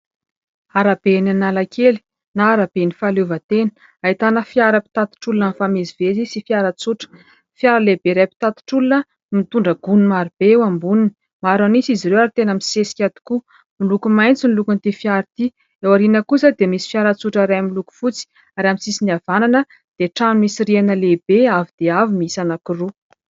Arabe eny Analakely, na araben'ny fahaleovantena, ahitana fiara mpitatitra olona mifamezivezy, sy fiara tsotra. Fiara lehibe iray mpitatitra olona no mitondra gony marobe eo amboniny, maro an'isa izy ireo ary tena misesika tokoa ; miloko maitso ny lokon'ity fiara ity. Eo aoriana kosa dia misy fiara tsotra iray, miloko fotsy. Ary amin'ny sisiny havanana dia trano misy rihana lehibe avo dia avo, miisa anankiroa.